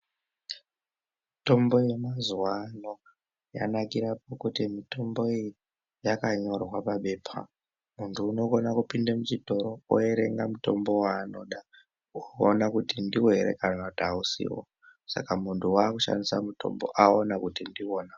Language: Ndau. Mitombo yamazuvano yanakira mukuti mitombo iyi yakanyorwa paphepa. Muntu unokone kupinda muchitoro oerenga mutombo waanoda oona kuti ndiwo here kana kuti hausiwo, saka muntu wakushandisa mutombo aona kuti ndiwona.